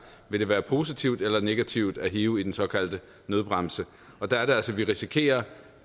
det vil være positivt eller negativt at hive i den såkaldte nødbremse og der er det altså vi risikerer